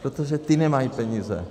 Protože ty nemají peníze.